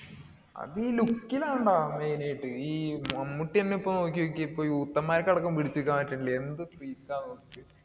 അതീ look ലാണെടാ main ആയിട്ട്. ഈ മമ്മൂട്ടി തന്നെ ഇപ്പൊ നോക്കിനോക്കിയേ ഇപ്പോ youth ന്മാർക്കടക്കം പിടിച്ചു നിൽക്കാൻ പറ്റണില്യ. എന്ത് fit ആ .